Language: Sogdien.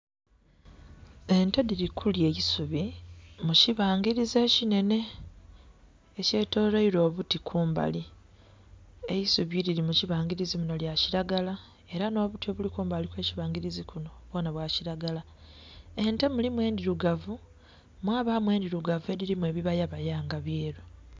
Ente dhili kulya aisubi mukibangilizi ekinhenhe ekye tolweelwa obuti kumbali, eisubi lili mukibangilizi munho lya kilagala era nho buti obuli kumbali okwe kibangilizi kunho bwonha bwa kilagala. Ente mulimu endhilugavu mwabamu endhilugavu edhilimu ebibala bala nga byelu.